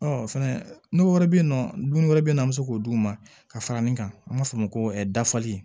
fɛnɛ n'o wɛrɛ bɛ yen nɔ dumuni wɛrɛ bɛ yen nɔ an bɛ se k'o d'u ma ka fara nin kan an b'a fɔ o ma ko dafali